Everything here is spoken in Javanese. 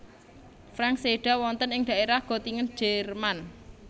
Franck séda wonten ing daerah Gottingen Jerman